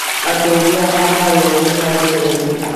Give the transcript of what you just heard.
Ateithia a arwaru nĩ marekereirio